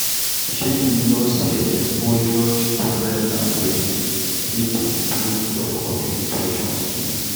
Shey you know sey exposure to different languages fit improve your communication skills?